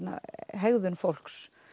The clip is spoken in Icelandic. hegðun fólks